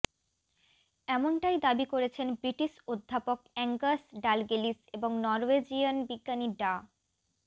এমনটাই দাবি করেছেন ব্রিটিশ অধ্যাপক অ্যাঙ্গাস ডালগেলিশ এবং নরওয়েজিয়ান বিজ্ঞানী ডা